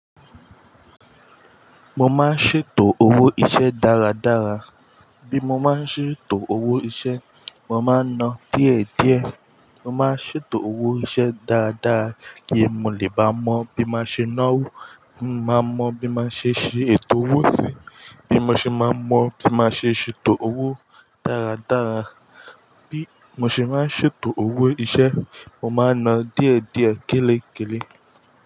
Mo máa ń ṣètò owó iṣẹ́ dáradára. Bí mo bá ń ṣètò owó iṣẹ́, mo máa ń náà díẹ̀díẹ̀. Mo máa ń ṣètò owó iṣẹ́ dáadáa, kí mo lè bá mọ bí màá ṣe náwó, kí mo bá lè mọ̀, bí máa ń ṣe ṣètò owó sí i. Bí mo ṣe máa ń mọ̀, bí màá ṣe ṣètò owó dáradára. Bí mo ṣe maá ń ṣètò owó iṣẹ́, mo máa ń náà díẹ̀díẹ̀, kélékélé.